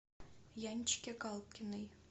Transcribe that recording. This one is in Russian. янчике галкиной